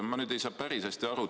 Ma nüüd ei saa päris hästi aru.